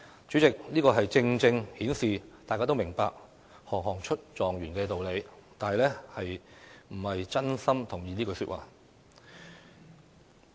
主席，這正正顯示大家都明白"行行出狀元"的道理，但並非真心同意這句話。